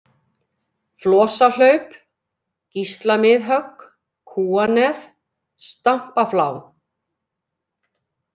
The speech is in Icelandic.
Flosahlaup, Gíslamiðhögg, Kúanef, Stampaflá